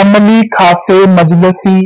ਅਮਲੀ ਖਾਸੇ ਮਜਲਸੀ